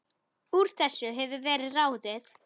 Úr þessu hefur verið ráðið